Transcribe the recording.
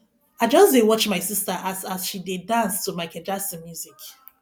i just dey watch my sister as as she dey dance to micheal jackson music